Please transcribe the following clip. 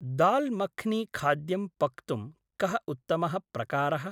दाल् मख्नीखाद्यं पक्तुं कः उत्तमः प्रकारः?